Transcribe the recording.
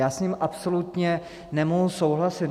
Já s ním absolutně nemohu souhlasit.